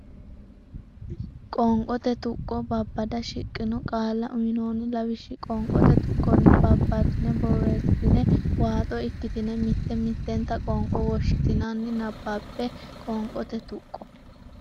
Qoonqote Tuqqo Babbada shiqqino qaalla uynoonni lawishshi qoonqote tuqqonni babbaddine borreessitine waaxo ikkitine mitte mittenta qoonqo woshshitinanni nabbabbe Qoonqote Tuqqo.